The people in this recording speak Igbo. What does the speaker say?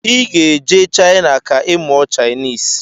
Iga ejee china ka imụọ chinese!!